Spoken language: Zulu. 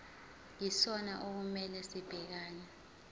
yisona okumele sibhekane